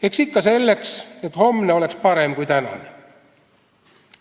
Eks ikka selleks, et homne oleks parem kui tänane.